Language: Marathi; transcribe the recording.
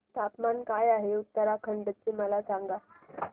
तापमान काय आहे उत्तराखंड चे मला सांगा